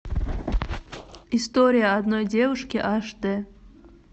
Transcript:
история одной девушки аш дэ